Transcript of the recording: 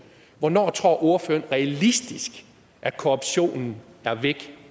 hvornår tror ordføreren realistisk at korruptionen er væk